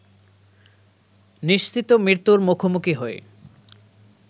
নিশ্চিত মৃত্যুর মুখোমুখি হয়ে